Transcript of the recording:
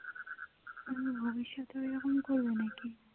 তুমি ভব্যিষতেও এরকম করবে নাকি